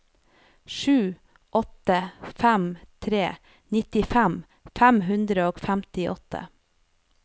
sju åtte fem tre nittifem fem hundre og femtiåtte